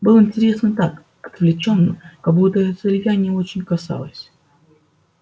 было интересно так отвлечённо как будто это ильи не очень касалось